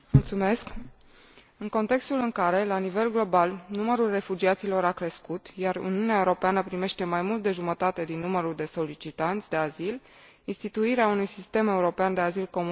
În contextul în care, la nivel global, numărul refugiaților a crescut, iar Uniunea Europeană primește mai mult de jumătate din numărul de solicitanți de azil, instituirea unui sistem european de azil comun trebuie urgentată.